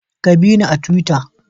Ka bina a tuwita